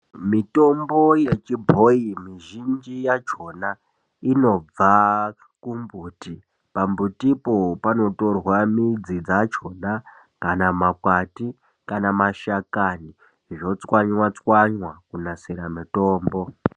Mitombo yechibhoyi mizhinji yachona inobva kumbuti pambutipo panotorwa mbuti midzi dzachona kana makwati kana mashakani zvotswanywa stwanywa kunasira mitombo.